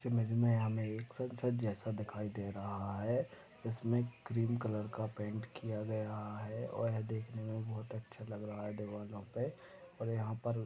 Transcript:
इस इमेज में हमे एक संसज जैसा दिखाई दे रहा है इसमे क्रीम कलर का पॅण्ट किया है और ये देखने मे बहुत अच्छा लग रहा है दरवाजा पे और यहा पर --